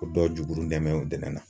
O dɔw jukurun dɛnmɛn dɛnɛn na.